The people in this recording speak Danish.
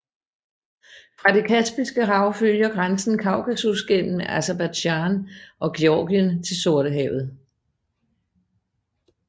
Fra det Kaspiske Hav følger grænsen Kaukasus gennem Aserbajdsjan og Georgien til Sortehavet